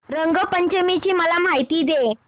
रंग पंचमी ची मला माहिती दे